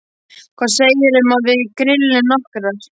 Hvað segirðu um að við grillum nokkrar?